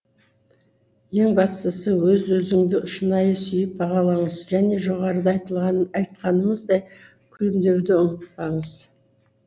ең бастысы өз өзіңді шынайы сүйіп бағалаңыз және жоғарыда айтқанымыздай күлімдеуді ұмытпаңыз